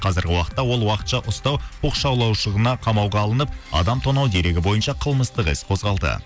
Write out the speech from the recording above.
қазрігі уақытта ол уақытша ұстау қамауға алынып адам тонау дерегі бойынша қылмыстық іс қозғалды